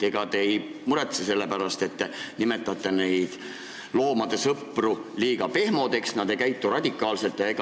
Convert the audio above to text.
Ega te ei muretse selle pärast, et te peate neid loomade sõpru liiga pehmodeks, arvate, et nad ei käitu radikaalselt?